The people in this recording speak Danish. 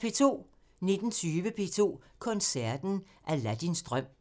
19:20: P2 Koncerten – Aladdins drøm